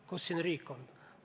Kus siin riik on?